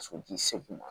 Sotigi segu ma